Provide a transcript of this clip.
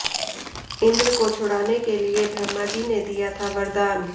इंद्र को छुड़ाने के लिए ब्रह्मा जी ने दिया था वरदान